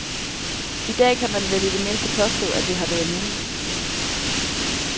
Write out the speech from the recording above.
I dag kan man vel i det mindste påstå, at det har været muligt.